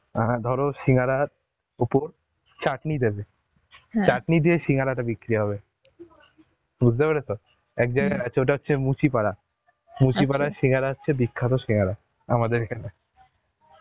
অ্যাঁ ধর সিঙ্গারার উপর চাটনি দেবে দিয়ে সিঙ্গারা তে বিক্রি হবে বুঝতে পেরেছ এক জায়গায় আছে ওটা হচ্ছে মুচিপাড়া, সিংহারা হচ্ছে বিখ্যাত সিঙ্গারা, আমাদের এখানে